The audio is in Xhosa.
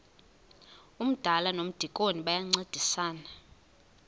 umdala nomdikoni bayancedisana